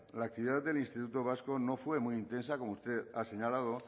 la actividad del instituto vasco no fue muy intensa como usted ha señalado